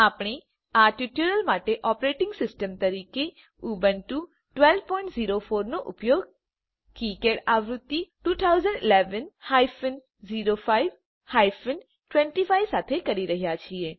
આપણે આ ટ્યુટોરીયલ માટે ઓપરેટિંગ સિસ્ટમ તરીકે ઉબુન્ટુ 1204 નો ઉપયોગ કિકાડ આવૃત્તિ 2011 હાયફેન 05 હાયફેન 25 સાથે કરી રહ્યા છીએ